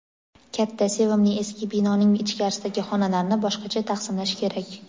katta sevimli eski binoning ichkarisidagi xonalarni boshqacha taqsimlash kerak.